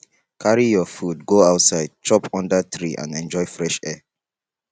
carry your food go outside chop under tree and enjoy fresh air